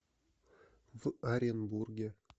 в оренбурге